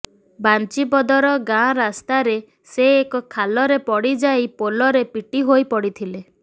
ବାଞ୍ଜିପଦର ଗାଁ ରାସ୍ତାରେ ସେ ଏକ ଖାଲରେ ପଡିଯାଇ ପୋଲରେ ପିଟି ହୋଇପଡିଥିଲେ